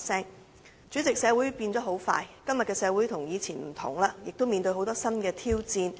代理主席，社會急速變遷，今日的社會已跟以前不同，亦面對很多新的挑戰。